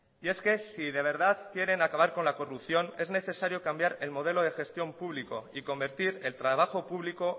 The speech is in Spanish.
y es que si verdad quieren acabar con la corrupción es necesario cambiar el modelo de gestión público y convertir el trabajo público